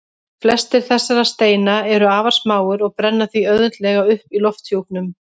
Flestir þessara steina eru afar smáir og brenna því auðveldlega upp í lofthjúpnum.